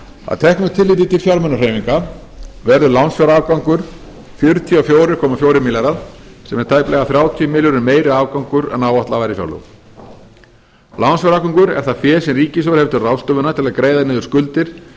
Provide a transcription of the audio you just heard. að teknu tilliti til fjármunahreyfinga verður lánsfjárafgangur fjörutíu og fjögur komma fjórir milljarðar sem er tæplega þrjátíu milljörðum meiri afgangur en áætlað var í fjárlögum lánsfjárafgangur er það fé sem ríkissjóður hefur til ráðstöfunar til að greiða niður skuldir